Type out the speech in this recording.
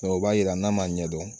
o b'a jira n'a m'a ɲɛdɔn